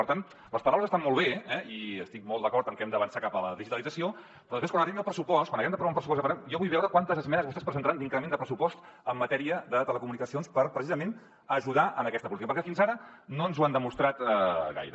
per tant les paraules estan molt bé eh i estic molt d’acord en que hem d’avançar cap a la digitalització però després quan arribi el pressupost quan ho haguem d’aprovar amb pressupost jo vull veure quantes esmenes vostès presentaran d’increment de pressupost en matèria de telecomunicacions per precisament ajudar en aquesta política perquè fins ara no ens ho han demostrat gaire